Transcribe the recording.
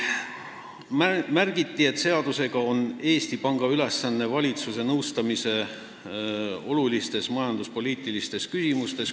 Märgiti, et seaduse järgi on Eesti Panga ülesanne valitsuse nõustamine olulistes majanduspoliitilistes küsimustes.